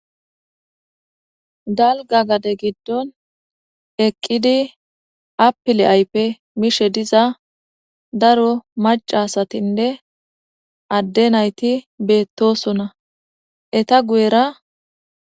Dalga gade gidon eqidi apile mishe diza daro maca asatinne Ade nayti betosona ,eta guyera...